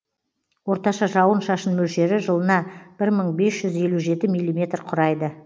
орташа жауын шашын мөлшері жылына бір мың бес жүз елу жеті миллиметр құрайды